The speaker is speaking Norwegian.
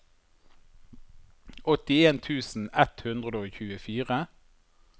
åttien tusen ett hundre og tjuefire